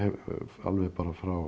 alveg bara frá